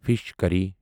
fish کری